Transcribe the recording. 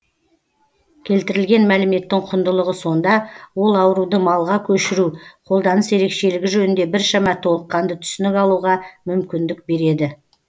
келтірілген мәліметтің құндылығы сонда ол ауруды малға көшіру қолданыс ерекшелігі жөнінде біршама толыққанды түсінік алуға мүмкіндік береді